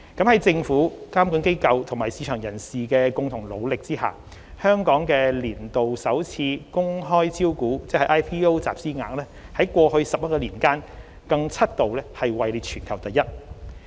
在政府、監管機構和市場人士的共同努力下，香港的年度首次公開招股集資額在過去11年間更七度位列全球第一。